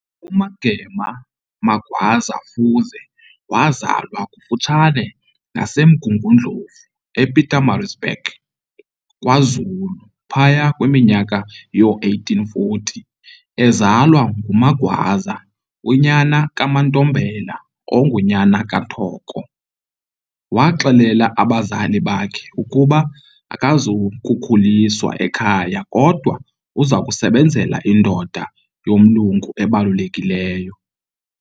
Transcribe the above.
UMagema Magwaza Fuze wazalwa kufutshane nasemMgungundlovu, ePietermaritzburg, kwaZulu, phaya kwiminyaka yoo-1840, ezalwa nguMagwaza, unyana kaMatombela, ongunyana kaThoko. Waxelela abazali bakhe ukuba akazukukhuliswa ekhaya kodwa uzakusebenzela indoda yomlungu ebalulekileyo.